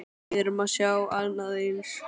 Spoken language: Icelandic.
Við erum að sjá annað eins?